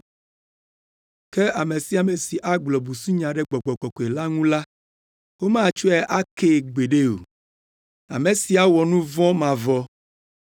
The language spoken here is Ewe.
ke ame sia ame si agblɔ busunya ɖe Gbɔgbɔ Kɔkɔe la ŋu la, womatsɔe akee gbeɖe o. Ame sia wɔ nu vɔ̃ mavɔ.”